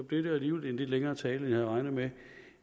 blev det jo alligevel en lidt længere tale end jeg havde regnet med